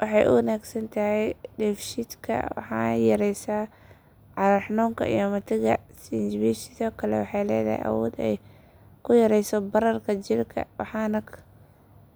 Waxay u wanaagsan tahay dheefshiidka waxayna yaraysaa calool xanuunka iyo matagga. Sinjibishu sidoo kale waxay leedahay awood ay ku yarayso bararka jirka waxayna